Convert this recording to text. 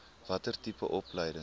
watter tipe opleiding